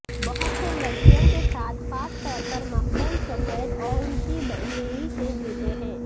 بہت سے لڑکیوں کے ساتھ خاص طور پر مقبول سفید اونچی یڑی کے جوتے ہیں